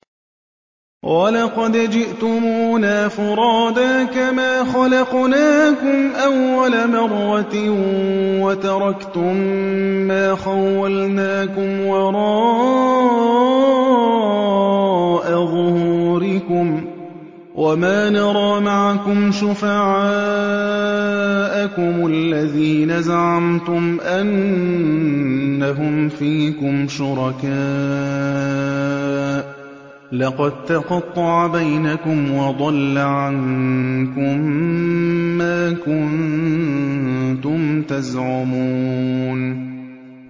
وَلَقَدْ جِئْتُمُونَا فُرَادَىٰ كَمَا خَلَقْنَاكُمْ أَوَّلَ مَرَّةٍ وَتَرَكْتُم مَّا خَوَّلْنَاكُمْ وَرَاءَ ظُهُورِكُمْ ۖ وَمَا نَرَىٰ مَعَكُمْ شُفَعَاءَكُمُ الَّذِينَ زَعَمْتُمْ أَنَّهُمْ فِيكُمْ شُرَكَاءُ ۚ لَقَد تَّقَطَّعَ بَيْنَكُمْ وَضَلَّ عَنكُم مَّا كُنتُمْ تَزْعُمُونَ